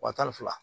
Wa tan ni fila